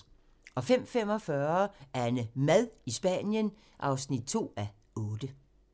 05:45: AnneMad i Spanien (2:8)